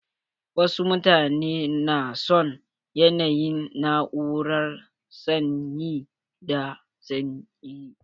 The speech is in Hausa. Wasu mutane na son yanayin na'urar sanyi da sanyi.